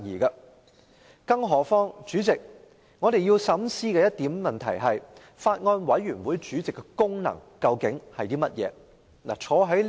再者，代理主席，我們要深思一個問題，就是法案委員會主席的功能為何。